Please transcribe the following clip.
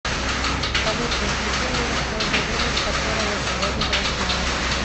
салют разбуди меня в то же время в которое я сегодня проснулась